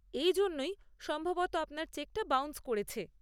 এই জন্যেই সম্ভবত আপনার চেকটা বাউন্স করেছে।